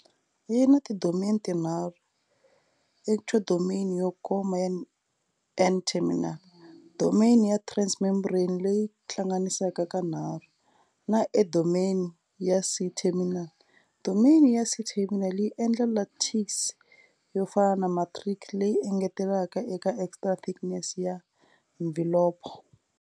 Yi na tidomeni tinharhu, ectodomain yo koma ya N-terminal, domain ya transmembrane leyi hlanganisaka kanharhu, na endodomain ya C-terminal. Domain ya C-terminal yi endla lattice yofana na matrix leyi engetelaka eka extra-thickness ya mvhilopho.